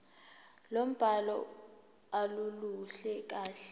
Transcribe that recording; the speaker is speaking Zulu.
lombhalo aluluhle kahle